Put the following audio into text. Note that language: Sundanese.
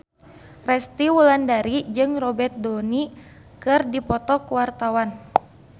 Resty Wulandari jeung Robert Downey keur dipoto ku wartawan